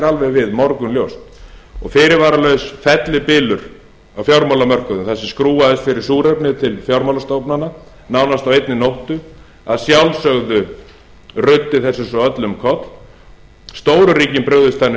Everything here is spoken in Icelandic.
alveg við morgunljóst og fyrirvaralaus fellibylur á fjármálamörkuðum þar sem skrúfað er fyrir súrefnið til fjármálastofnana nánast á einni nóttu að sjálfsögðu ruddi þessu svo öllu um koll stóru ríkin brugðust þannig